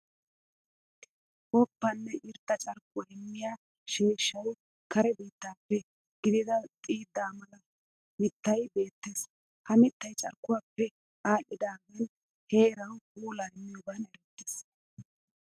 Woppa nne irxxa carkkuwa immiya sheeshshay kare biittaappe gidido xiidda mala mittay beettes. Ha mittay carkkuwappe aadhdhidaagan heerawu puulaa immiyoogan erettiis.